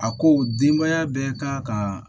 A ko denbaya bɛɛ ka kan ka